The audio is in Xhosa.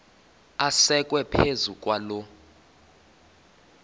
asekwe phezu kwaloo